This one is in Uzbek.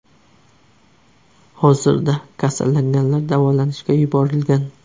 Hozirda kasallanganlar davolanishga yuborilgan.